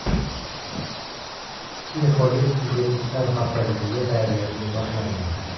Infolib Uzbekistan haftaligiga tayyorgarlik boshlandi.